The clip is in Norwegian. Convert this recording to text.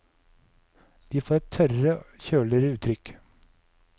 De får et tørrere, kjøligere uttrykk.